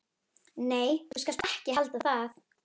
Nei, þú skalt ekki halda það!